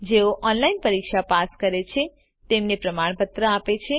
જેઓ ઓનલાઇન પરીક્ષા પાસ કરે છે તેમને પ્રમાણપત્ર આપે છે